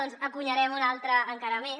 doncs n’encunyarem un altre encara més